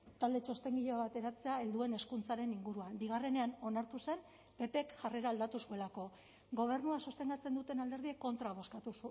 talde txostengile bat eratzea helduen hezkuntzaren inguruan bigarrenean onartu zen ppk jarrera aldatu zuelako gobernua sostengatzen duten alderdiek kontra bozkatu